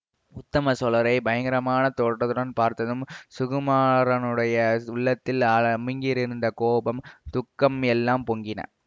உத்தம சோழரை பயங்கரமான தோற்றத்துடன் பார்த்ததும் சுகுமாரனுடைய உள்ளத்தில் அமுங்கியிருந்த கோபம் துக்கம் எல்லாம் பொங்கின